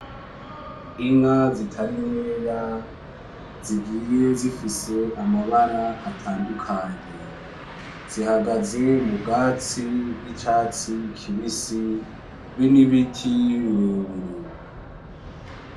Inka zitari nkeya zigiye zifise mabara atandukanye zihagaze mubwtsi z'icatsi kibisi be n'ibiti birebire.